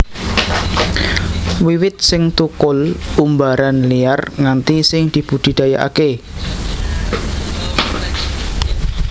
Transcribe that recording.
Wiwit sing thukul umbaran liar nganti sing dibudidayakaké